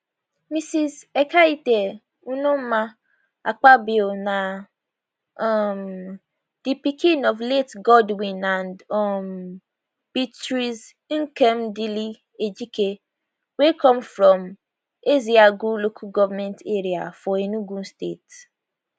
mrs ekaette unoma akpabio na um di pikin of late godwin and um beatrice nkemdilim ejike wey come from ezeagu local goment area for enugu state